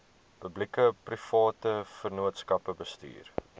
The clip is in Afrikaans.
publiekeprivate vennootskappe bestuur